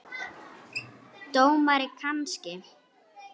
Dómari kannski?